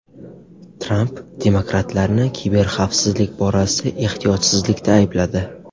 Tramp demokratlarni kiberxavfsizlik borasida ehtiyotsizlikda aybladi.